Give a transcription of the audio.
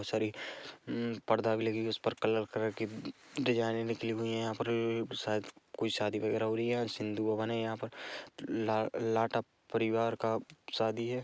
Sorry हम्म पर्दा भी लगी हुई हैं उस पर कलर कलर की डिज़ाइन निकली हुई है यहाँ पर शायद कुछ शादी वगेरे हो रही है आज सिंधु भवन हैं यहाँ पर ला अ लाटा परिवार का शादी हैं।